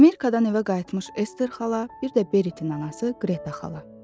Amerikadan evə qayıtmış Ester xala, bir də Beritin anası Qreta xala.